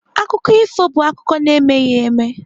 Akụkọ ifo bụ akụkọ na-emeghị eme.